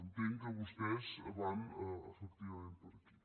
entenc que vostès van efectivament per aquí